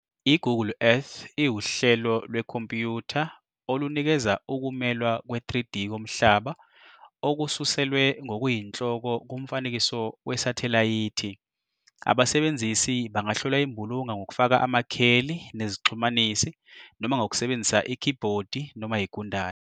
I-Google Earth iwuhlelo lwekhompuyutha olunikeza ukumelwa kwe-3D komhlaba okususelwe ngokuyinhloko kumfanekiso wesathelayithi. Abasebenzisi bangahlola imbulunga ngokufaka amakheli nezixhumanisi, noma ngokusebenzisa ikhibhodi noma igundane.